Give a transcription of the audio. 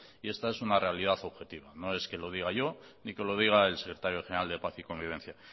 y esta es una realidad objetiva no es que lo diga yo ni que lo diga el secretario general de paz y convivencia